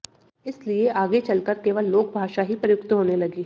इसलिए आगे चलकर केवल लोकभाषा ही प्रयुक्त होने लगी